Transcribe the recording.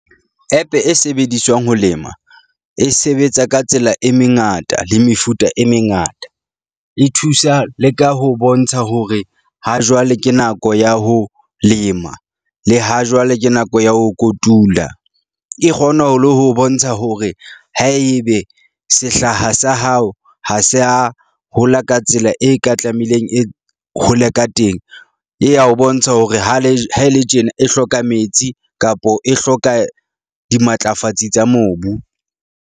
App-e e sebediswang ho lema e sebetsa ka tsela e mengata le mefuta e mengata. E thusa le ka ho bontsha hore ha jwale ke nako ya ho lema. Le ha jwale ke nako ya ho kotula. E kgona ho le ho bontsha hore haebe sehlaha sa hao ha se a hola ka tsela e ka tlameileng e hole ka teng, e ya o bontsha hore ha le ha ele tjena e hloka metsi kapo e hloka dimatlafatsi tsa mobu.